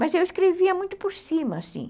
Mas eu escrevia muito por cima, assim.